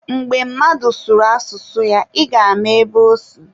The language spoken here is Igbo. Mgbe mmadụ sụrụ asụsụ ya, ị ga-ama ebe osi.